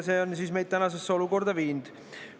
See on meid tänasesse olukorda viinud.